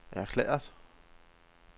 erklæret